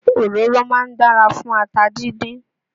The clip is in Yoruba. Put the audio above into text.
Òróró máa ń dára fún ata díndín